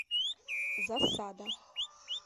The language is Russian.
засада